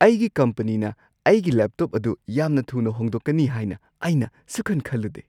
ꯑꯩꯒꯤ ꯀꯝꯄꯅꯤꯅ ꯑꯩꯒꯤ ꯂꯦꯞꯇꯣꯞ ꯑꯗꯨ ꯌꯥꯝꯅ ꯊꯨꯅ ꯍꯣꯡꯗꯣꯛꯀꯅꯤ ꯍꯥꯏꯅ ꯑꯩꯅ ꯁꯨꯛꯈꯟ -ꯈꯜꯂꯨꯗꯦ꯫